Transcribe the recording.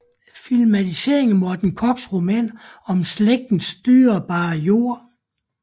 Filmatisering af Morten Korchs roman om slægtens dyrebare jord